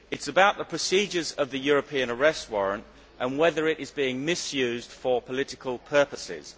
It is about the procedures of the European Arrest Warrant and whether it is being misused for political purposes.